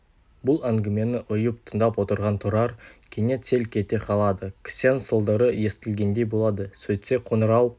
бұл әңгімені ұйып тыңдап отырған тұрар кенет селк ете қалады кісен сылдыры естілгендей болады сөйтсе қоңырау